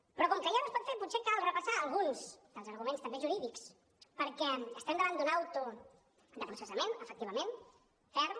però com que ja no es pot fer potser cal repassar alguns dels arguments també jurídics perquè estem davant d’un auto de processament efectivament ferm